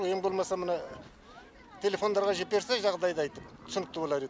сол ең болмаса мына телефондарға жіберсе жағдайды айтып түсінікті болар еді